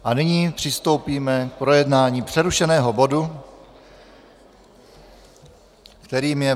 A nyní přistoupíme k projednávání přerušeného bodu, kterým je